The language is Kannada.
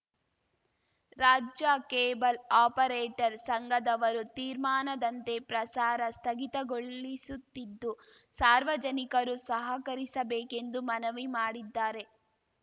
ರಾಜ್ಯ ಕೇಬಲ್‌ ಆಪರೇಟರ್‌ ಸಂಘದವರು ತೀರ್ಮಾನದಂತೆ ಪ್ರಸಾರ ಸ್ಥಗಿತಗೊಳ್ಳಿಸುತ್ತಿದ್ದು ಸಾರ್ವಜನಿಕರು ಸಹಕರಿಬೇಕೆಂದು ಮನವಿ ಮಾಡಿದ್ದಾರೆ